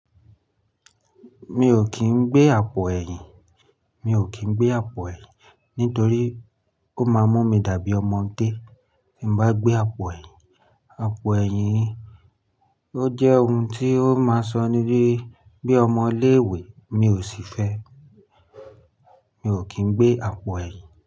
Mi ò kì n gbé àpò ẹ̀yìn. Mi ò kì n gbé àpò ẹ̀yìn nítorí ó máa mú mi dàbí ọmọdé. Tí n bá gbé àpò ẹ̀yìn, àpò ẹ̀yìn ó jẹ́ ohun tí ó máa sọ ní dí bí ọmọ ilé ìwé, mi ò sì fẹ́. Mi ò kì n gbé àpò ẹ̀yìn.